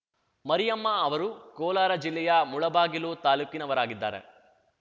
ಮರಿಯಮ್ಮ ಅವರು ಕೋಲಾರ ಜಿಲ್ಲೆಯ ಮುಳಬಾಗಿಲು ತಾಲೂಕಿನವರಾಗಿದ್ದಾರೆ